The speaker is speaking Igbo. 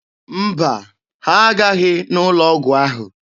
Mba, ha aghaghị n'ụlọ ọgwụ ahụ.